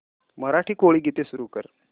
मराठी कोळी गीते सुरू कर